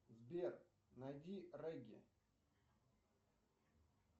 сбер найди регги